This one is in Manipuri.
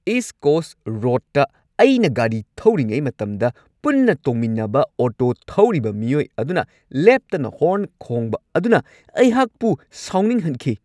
ꯏꯁꯠ ꯀꯣꯁꯠ ꯔꯣꯗꯇ ꯑꯩꯅ ꯒꯥꯔꯤ ꯊꯧꯔꯤꯉꯩ ꯃꯇꯝꯗ ꯄꯨꯟꯅ ꯇꯣꯡꯃꯤꯟꯅꯕ ꯑꯣꯇꯣ ꯊꯧꯔꯤꯕ ꯃꯤꯑꯣꯏ ꯑꯗꯨꯅ ꯂꯦꯞꯇꯅ ꯍꯣꯔꯟ ꯈꯣꯡꯕ ꯑꯗꯨꯅ ꯑꯩꯍꯥꯛꯄꯨ ꯁꯥꯎꯅꯤꯡꯍꯟꯈꯤ꯫